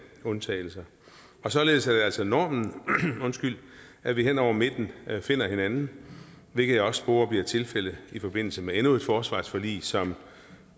undtagelser således er det altså normen at vi hen over midten finder hinanden hvilket jeg også sporer bliver tilfældet i forbindelse med endnu et forsvarsforlig som